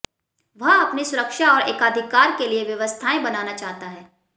वह अपनी सुरक्षा और एकाधिकार के लिए व्यवस्थाएं बनाना चाहता है